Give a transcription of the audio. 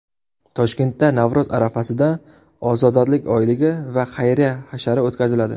Toshkentda Navro‘z arafasida ozodalik oyligi va xayriya hashari o‘tkaziladi.